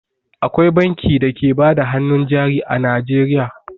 Akwai banki da ke bada hannun jari a Najeriya.